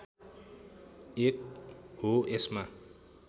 एक हो यसमा